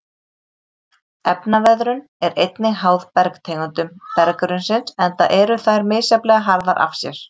Efnaveðrun er einnig háð bergtegundum berggrunnsins enda eru þær misjafnlega harðar af sér.